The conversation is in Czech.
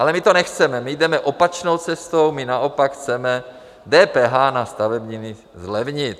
Ale my to nechceme, my jdeme opačnou cestou, my naopak chceme DPH na stavebniny zlevnit.